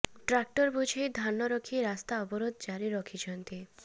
tractor ବୋଝେଇ ଧାନ ରଖି ରାସ୍ତା ଅବରୋଧ ଜାରି ରଖିଛନ୍ତି